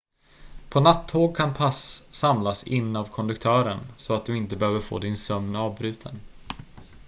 på nattåg kan pass samlas in av konduktören så att du inte behöver få din sömn avbruten